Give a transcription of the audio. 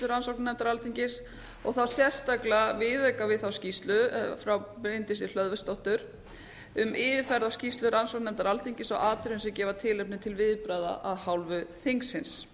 rannsóknarnefndar alþingis og þá sérstaklega viðauka við þá skýrslu frá bryndísi hlöðversdóttur um yfirferð á skýrslu rannsóknarnefndar alþingis á atriðum sem gefa tilefni til viðbragða af hálfu þingsins